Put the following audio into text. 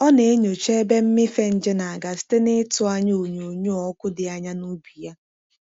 Ọ na-enyocha ebe mmịfe nje na-aga site n'ịtụ anya onyoonyo ọkụ dị anya n'ubi ya.